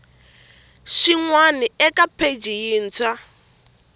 xin wana eka pheji yintshwa